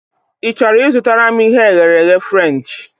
Ị chọrọ I zụtara m ihe e ghere eghe Frenchị?